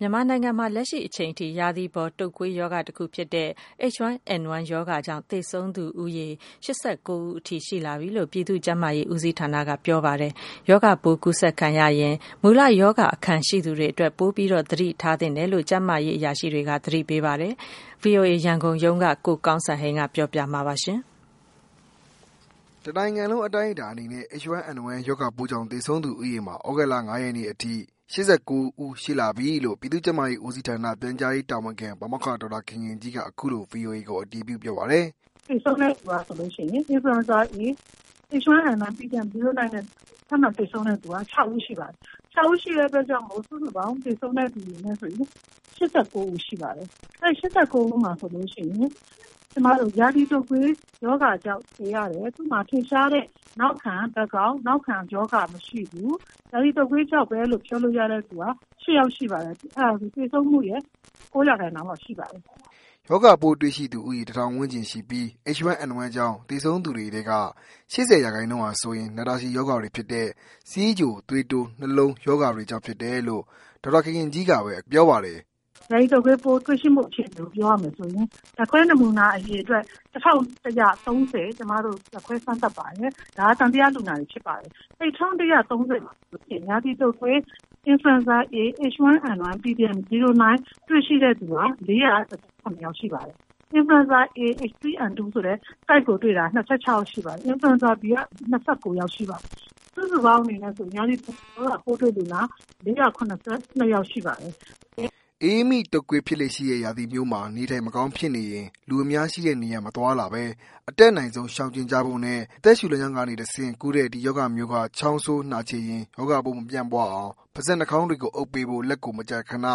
မြန်မာနိုင်ငံမှာ လက်ရှိအချိန်ထိ ရာသီပေါ် တုတ်ကွေးရောဂါတစ်ခုဖြစ်တဲ့ H1N1 ရောဂါကြောင့် သေဆုံးသူ ဦးရေ ၈၉ဦးထိရှိလာပီလို့ ပြည်သူ့ကျန်းမာရေး ဦးစီးဌာနက ပြောပါတယ်။ရာဂါပိုးကူးစက်ခံရရင် မူလရောဂါအခံရှိသူတွေအတွက် ပိုပြီး သတိထားသင့်တယ်လို့ ကျန်းမာရေးအရာရှိတွေက သတိပေးပါတယ်။ ဗွီအိုအေ ရန်ကုန်ရုံးက ကိုကောင်းစံဟိန်းက ပြောပြပေးမှာပါ။ တစ်နိုင်ငံလုံး အတိုင်းအတာအနေနဲ့ H1N1 ရောဂါပိုးကြောင့် သေဆုံးသူ ဦးရေမှာ သြဂုတ်လ၅ရက်နေ့အထိ၈၉ ဦး ရှိလာပီလို့ ပြည်သူ့ ကျန်းမာရေးဦးစီးဌာန တာဝန်ရှိသူ ဒေါက်တာခင်ခင်ကြီးက အခုလို ဗွီအိုအေကို အတည်ပြု ပြောပါတယ်။ “သေဆုံးသူက H1N1 influenza A pdm09 နဲ့ ထပ်မံသေဆုံးသူက ၆ ဦးရှိပါပြီ ။ အဲဒီအတွက်ကြောင့် စုစုပေါင်း သေဆုံးသူက ၈၉ ဦး ရှိပါတယ်။ အဲဒီ ၈၉ ဦးမှာဆိုရင် ရာသီတုပ်ကွေးရောဂါကြောင့် သေရတယ် ။ သူ့မှာ ထင်ရှားတဲ့ နောက်ခံရောဂါမရှိဘူး။ ရာသီတုပ်ကွေးရောဂါကြောင့်ပဲလို့ ပြောလို့ရသူက ၈ ယောက်ရှိတယ် ဆိုတော့ သေဆုံးမှုရဲ့ ၉ ရာခိုင်နှုန်းလောက်တော့ရှိပါတယ်။” ရာသီတုတ်ကွေး ရောဂါပိုးသံသယလူနာ ၁၀၀၀ ကျော်မှာ လူဦးရေ ၄၀၀ ေျကာ် ရောဂါပိုးတွေ့ရှိပြီးတော့ အဲဒီထဲက H1N1 ကြောင့် သေဆုံးသူ ၈၉ ဦးရှိသွားပြီဖြစ်ပါတယ်။ သေဆုံးသူတွေထဲက ၈၀ရာခိုင်နှုန်းဟာဆိုရင် နာတာရှည် ရောဂါတွေဖြစ်တဲ့ ဆီးချို ၊သွေးတိုး ၊နှလုံးရောဂါတွေကြောင့် ဖြစ်တယ်လို့ ဒေါက်တာခင်ခင်ကြီးက ပြောပါတယ်။ “ရာသီပေါ်တုပ်ကွေးပိုး တွေ့ရှိမှု အခြေအနေကို ပြောရမယ်ဆိုရင် ဓာတ်ခွဲနမူနာ အရေအတွက် ၁၁၃၀ ဓာတ်ခွဲစမ်းသပ်ပါတယ်။ဒါက သံသရလူနာတွေ ဖြစ်ပါတယ်။အဲ့ဒီ ၁၁၃၀မှာဆိုရင် ရာသီတုပ်ကွေး Influenza A H1N1 ပိုးတွေ့ရှိသူဟာ ၄၁၇ ယောက် ရှိပါတယ်။ Influenza A H3N2 ဆိုတာကို တွေ့ရှိသူက ၂၆ ယောက် ရှိပါတယ်။ Influenza Bက ၂၉ ယောက် ရှိပါတယ်။စုစုပေါင်း အနေနဲ့ဆို ရာသီပေါ်တုပ်ကွေး ရောဂါပိုးတွေ့ရှိသူလူနာ ၄၇၂ ယောက်ရှိပါတယ်။” အအေးမိတုပ်ကွေး ဖြစ်လေ့ရှိတဲ့ ရာသီမျိုးမှာ နေထိုင်မကောင်းဖြစ်နေရင် လူအများရှိတဲ့နေရာ မသွားလာဘဲ အတတ်နိုင်ဆုံး ရှောင်ကြဉ်ကြဖို့နဲ့ အသက်ရှူလမ်းကြောင်းကနေ တဆင့် ကူးတဲ့ ဒီရောဂါမျိုးက ချောင်းဆိုး၊ နှာချေရင် ရောဂါပိုးမပြန့်ပွားအောင် ပါးစပ် နှာခေါင်းတွေကို အုပ်ပေးဖို့ လက်ကိုမကြာခဏ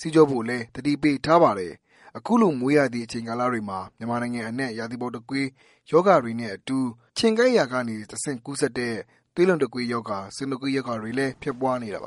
ဆေးကြောဖို့လည်း သတိပေးထားပါတယ်။ အခုလို မိုးရာသီအချိန်ကာလတွေမှာ မြန်မာနိုင်ငံအနှံ့ ရာသီပေါ်တုပ်ကွေး ရောဂါတွေနဲ့အတူ ခြင်ကိုက် ခံရာကနေ တစ်ဆင့် ကူးစက်တဲ့ သွေးလွန်တုတ်ကွေးရောဂါ၊ဆင်တုတ်ကွေး ရောဂါတွေ ဖြစ်ပွားနေတာပါ။